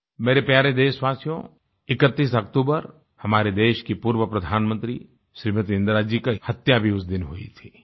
मेरे प्यारे देशवासियो 31 अक्टूबर हमारे देश की पूर्व प्रधानमंत्री श्रीमती इंदिरा जी की हत्या भी उस दिन हुई थी